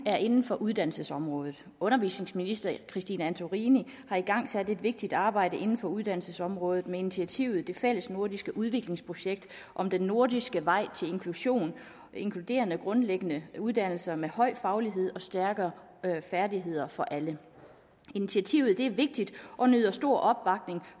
er inden for uddannelsesområdet undervisningsministeren har igangsat et vigtigt arbejde inden for uddannelsesområdet med initiativet et fællesnordisk udviklingsprojekt om den nordiske vej til inklusion inkluderende grundlæggende uddannelser med høj faglighed og stærkere færdigheder for alle initiativet er vigtigt og nyder stor opbakning